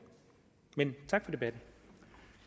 men